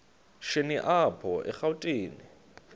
shini apho erawutini